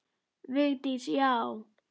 Vigdís: Já!